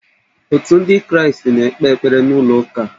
Otu ndị kraastị na-ekpe ekpere n'ụlọ ụka